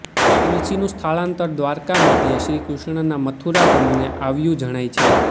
તુલસીનું સ્થળાંતર દ્વારકા મધ્યે શ્રી કૃષ્ણનાં મથુરાગમને આવ્યું જણાય છે